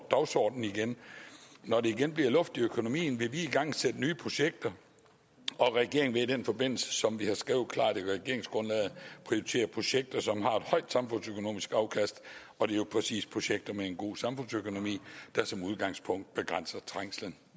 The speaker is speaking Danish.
dagsordenen igen når der igen bliver luft i økonomien vil vi igangsætte nye projekter og regeringen vil i den forbindelse som vi har skrevet klart i regeringsgrundlaget prioritere projekter som har et højt samfundsøkonomisk afkast og det er præcis projekter med en god samfundsøkonomi der som udgangspunkt begrænser trængslen